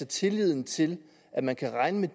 tilliden til at man kan regne med